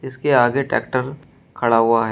इसके आगे ट्रैक्टर खड़ा हुआ है।